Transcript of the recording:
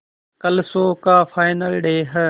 कल शो का final day है